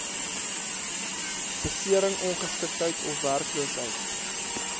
besering ongeskiktheid ofwerkloosheid